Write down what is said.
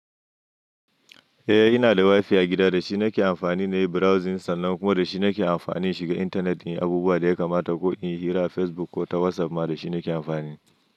Eh, ina da WiFi a gida, da shi nake amfani na yi browsing sannan kuma da shi nake amfani shiga intanet inyi abubuwa da ya kamata ko inyi hira a Facebook ko ta WhatsApp ma da shi nake amfani.